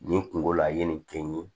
Nin kungo la a ye nin kɛ n ye